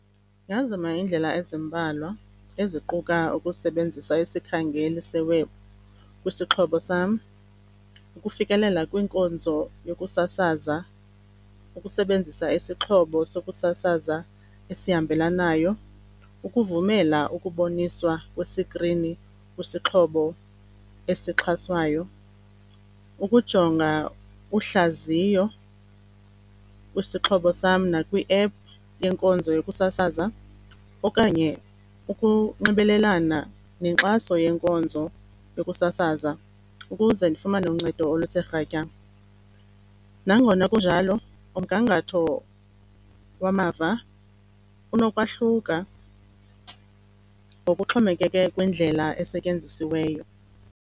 Ndingazama iindlela ezimbalwa eziquka ukusebenzisa isikhangeli se-web kwisixhobo sam, ukufikelela kwinkonzo yokusasaza, ukusebenzisa isixhobo sokusasaza esihambelanayo. Ukuvumela ukuboniswa kwesikrini kwisixhobo esixhaswayo, ukujonga uhlaziyo kwisixhobo sam nakwiephu yenkonzo yokusasaza okanye ukunxibelelana nenkxaso yenkonzo yokusasaza ukuze ndifumane uncedo oluthe rhatya. Nangona kunjalo umgangatho wamava unokwahluka ngokuxhomekeke kwindlela esetyenzisiweyo.